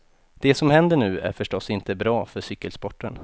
Det som händer nu är förstås inte bra för cykelsporten.